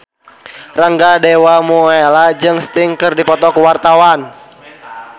Rangga Dewamoela jeung Sting keur dipoto ku wartawan